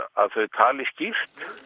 tali skýrt